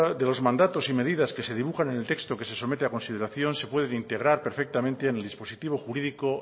de los mandatos y medidas que se dibujan en el texto que se somete a consideración se pueden integrar perfectamente en el dispositivo jurídico